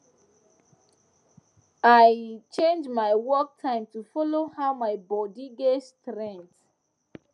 i change my work time to follow how my body get strength